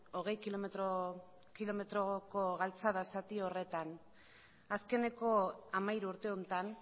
hogei kilometroko galtzada zati horretan azkeneko hamairu urte honetan